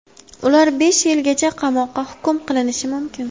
Ular besh yilgacha qamoqqa hukm qilinishi mumkin.